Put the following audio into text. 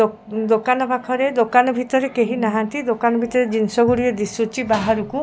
ଦୋକାନ ପାଖରେ ଦୋକାନ ଭିତରରେ କେହି ନାହାନ୍ତି ଦୋକାନ ଭିତରରେ ଜିନିଷ ଗୁଡିକ ଦିଶୁଛି ବାହାରକୁ।